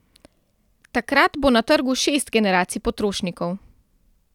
Takrat bo na trgu šest generacij potrošnikov.